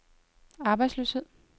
arbejdsløshed